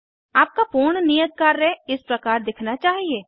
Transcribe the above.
आपका पूर्ण नियत कार्य इस प्रकार दिखना चाहिए